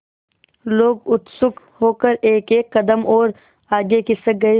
लोग उत्सुक होकर एकएक कदम और आगे खिसक गए